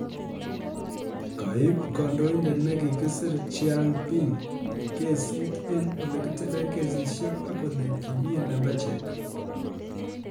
Kaip Kandoindet ne kikisir Jean Ping kesit eng ole kitile kesishek ak kolee kimi lembechek